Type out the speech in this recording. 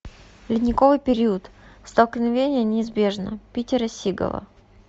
ледниковый период столкновение неизбежно питера сигала